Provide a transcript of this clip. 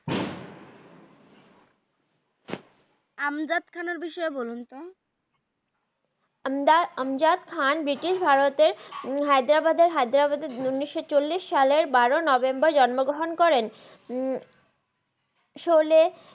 আমজাদ খানের বিষয়ে বলুন তো আমজাদ খান ব্রিটিশ ভারতের হাইদাবাদের উনিস চল্লিস সালের বার নভেম্বর জন ম গ্রাহান করেন সোলে